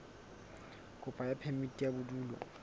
kopo ya phemiti ya bodulo